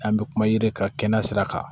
An bɛ kuma yiri ka kɛnɛya sira kan